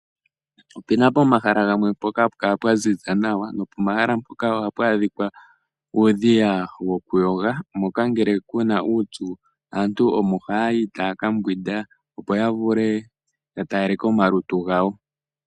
Ope na pomahala gamwe mpoka hapu kala pwa ziza nawa nopomahala mpoka ohapu adhika uudhiya wokuyoga, moka ngele ku na uupyu aantu omo haya yi taya ka mbwinda, opo ya vule okutalaleka omalutu gawo.